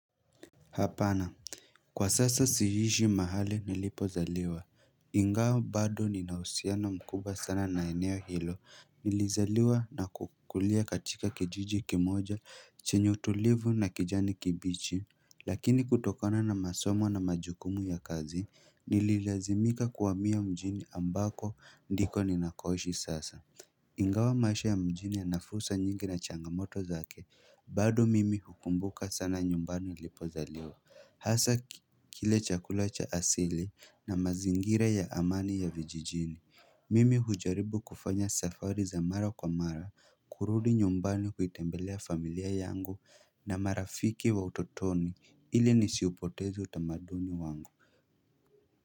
Hapana Kwa sasa siishi mahali nilipozaliwa Ingawa bado nina uhusiana mkubwa sana na eneo hilo Nilizaliwa na kukulia katika kijiji kimoja chenye utulivu na kijani kibichi Lakini kutokona na masomo na majukumu ya kazi Nililazimika kuhamia mjini ambako ndiko ninakoishi sasa Ingawa maisha ya mjini yana fursa nyingi na changamoto zake bado mimi hukumbuka sana nyumbani nilipozaliwa Hasa kile chakula cha asili na mazingira ya amani ya vijijini Mimi hujaribu kufanya safari za mara kwa mara kurudi nyumbani kuitembelea familia yangu na marafiki wa utotoni ili nisiupoteze utamaduni wangu.